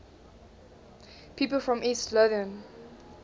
people from east lothian